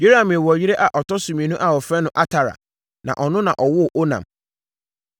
Yerahmeel wɔ yere a ɔtɔ so mmienu a wɔfrɛ no Atara, na ɔno na ɔwoo Onam.